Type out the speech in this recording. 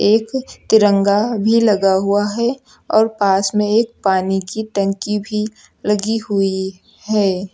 एक तिरंगा भी लगा हुआ है और पास में एक पानी की टंकी भी लगी हुई है।